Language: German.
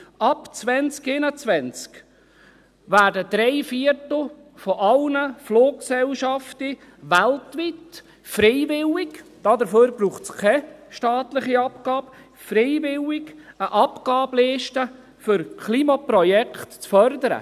Ab 2021 werden drei Viertel aller Fluggesellschaften weltweit freiwillig – dafür braucht es keine staatliche Abgabe – eine Abgabe zur Förderung von Klimaprojekten leisten.